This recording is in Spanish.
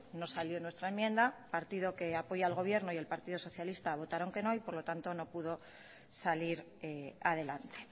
no salió nuestra enmienda el partido que apoya al gobierno y el partido socialista votaron que no y por lo tanto no pudo salir adelante